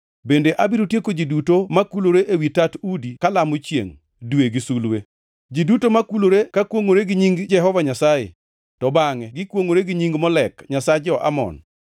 Bende abiro tieko ji duto makulore ewi tat udi kalamo chiengʼ, dwe gi sulwe. Ji duto makulore ka kwongʼore gi nying Jehova Nyasaye, to bangʼe gikwongʼore gi nying Molek nyasach jo-Amon.